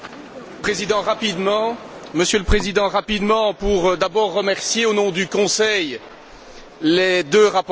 Monsieur le Président, rapidement pour d'abord remercier, au nom du Conseil, les deux rapporteurs, Mme Berès et M.